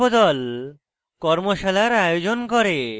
কর্মশালার আয়োজন করে